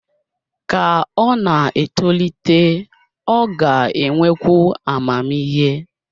Ka ọ na-etolite, ọ ga-enwekwu amamihe